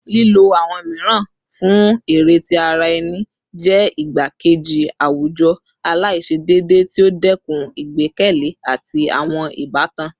Lilo awọn miiran fun ere ti ara ẹni jẹ igbakeji awujọ alaiṣedeede ti o dẹkun igbẹkẹle ati awọn ibatan